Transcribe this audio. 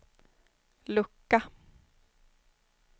lucka